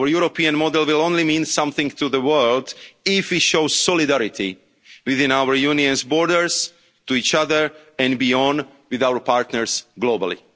is watching. Our European model will only mean something to the world if we show solidarity within our union's borders, to each other, and beyond, with our partners